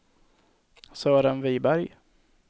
Sören Viberg